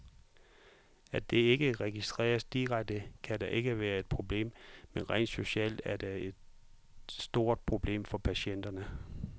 At det ikke registreres direkte, kan da ikke være et problem, men rent socialt er det et stort problem for patienterne.